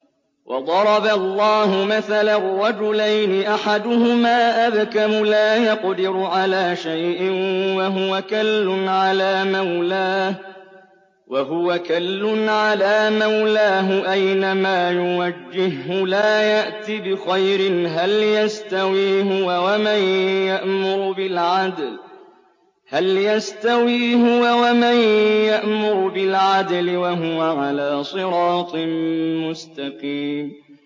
وَضَرَبَ اللَّهُ مَثَلًا رَّجُلَيْنِ أَحَدُهُمَا أَبْكَمُ لَا يَقْدِرُ عَلَىٰ شَيْءٍ وَهُوَ كَلٌّ عَلَىٰ مَوْلَاهُ أَيْنَمَا يُوَجِّههُّ لَا يَأْتِ بِخَيْرٍ ۖ هَلْ يَسْتَوِي هُوَ وَمَن يَأْمُرُ بِالْعَدْلِ ۙ وَهُوَ عَلَىٰ صِرَاطٍ مُّسْتَقِيمٍ